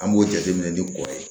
An b'o jateminɛ ni kɔ ye